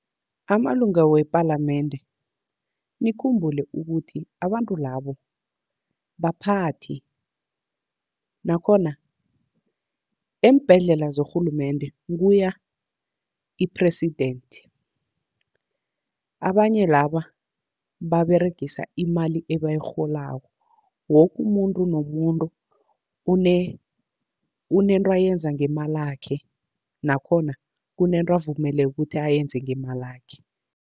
Amalunga wepalamende nikhumbule ukuthi abantu labo baphathi, nakhona eembhedlela zerhulumende kuya i-president. Abanye laba baberegisa imali ebayirholako, woke umuntu nomuntu unento ayenza ngemalakhe, nakhona kunento avumeleke ukuthi ayenze ngemalakhe.